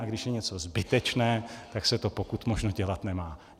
A když je něco zbytečné, tak se to pokud možno dělat nemá.